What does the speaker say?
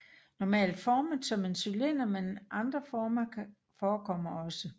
Normalt formet som en cylinder men andre former forekommer også